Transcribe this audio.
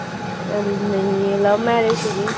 ਨਹੀਂ ਇਹ love marriage ਸੀਗੀ